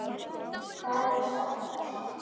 Það er sárt að sakna.